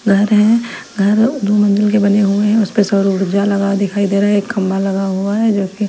घर है घर दो मंजिल के बने हुए हैं उसपे सौर ऊर्जा लगा दिखाई दे रहा है एक खंबा लगा हुआ है जो कि--